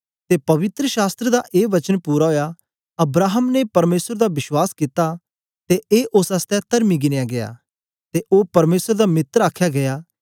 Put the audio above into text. ते पवित्र शास्त्र दा ए वचन पूरा ओया अब्राहम ने परमेसर दा विश्वास कित्ता ते ए ओस आसतै तरमी गिनया गीया ते ओ परमेसर दा मित्र आखया गीया